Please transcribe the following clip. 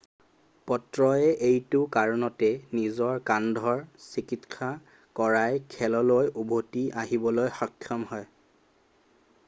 পত্ৰয়ে এইটো কাৰণতে নিজৰ কান্ধৰ চিকিৎসা কৰাই খেললৈ উভতি আহিবলৈ সক্ষম হয়